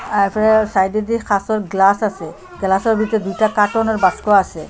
তারফরে সাইডে দিয়ে কাঁচের গ্লাস আসে গ্লাসের ভিতর দুইটা কার্টনের বাস্ক আসে।